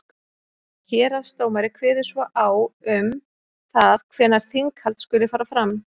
héraðsdómari kveður svo á um það hvenær þinghald skuli fara fram